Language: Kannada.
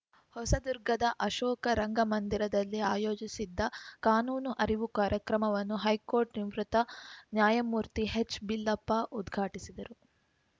ಹೊಸದುರ್ಗದ ಅಶೋಕ ರಂಗಮಂದಿರದಲ್ಲಿ ಆಯೋಜಿಸಿದ್ದ ಕಾನೂನು ಅರಿವು ಕಾರ್ಯಕ್ರಮವನ್ನು ಹೈಕೋರ್ಟ್‌ ನಿವೃತ್ತ ನ್ಯಾಯಮೂರ್ತಿ ಹೆಚ್‌ಬಿಲ್ಲಪ್ಪ ಉದ್ಘಾಟಿಸಿದರು